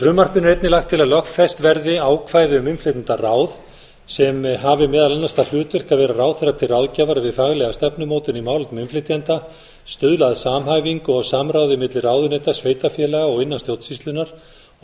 frumvarpinu er einnig lagt til að lögfest verði ákvæði um innflytjendaráð sem hafi meðal annars það hlutverk að vera ráðherra til ráðgjafar við faglega stefnumótun í málefnum innflytjenda stuðla að samhæfingu og samráði milli ráðuneyta sveitarfélaga og innan stjórnsýslunnar og